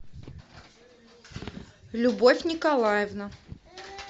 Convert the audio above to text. любовь николаевна